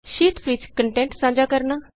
sheets ਵਿਚ content ਸਾਂਝਾ ਕਰਨਾ